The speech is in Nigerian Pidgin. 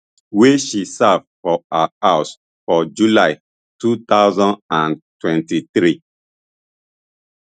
wey she serve for her house for july two thousand and twenty-three